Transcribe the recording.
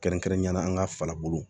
Kɛrɛnkɛrɛnnenya la an ka farabo